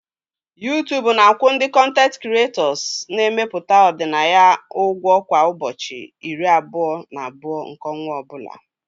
YouTube na-akwụ ndị kọntent kiretọs na-emepụta ọdịnaya ụgwọ kwa ụbọchị iri abụọ na abụọ nke ọnwa ọ bụla